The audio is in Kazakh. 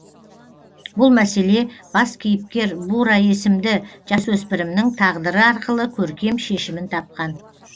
бұл мәселе бас кейіпкер бура есімді жасөсіпірімнің тағдыры арқылы көркем шешімін тапқан